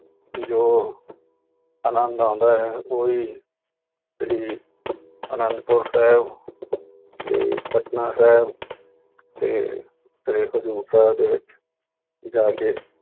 ਜੋ ਆਨੰਦ ਆਉਂਦਾ ਹੈ ਉਹੀ ਸ੍ਰੀ ਆਨੰਦਪੁਰ ਸਾਹਿਬ ਤੇ ਪਟਨਾ ਸਾਹਿਬ ਤੇ ਸ੍ਰੀ ਹਜ਼ੂਰ ਸਾਹਿਬ ਦੇ ਵਿੱਚ ਜਾ ਕੇ